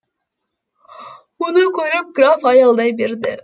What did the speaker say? мұны көріп граф аялдай берді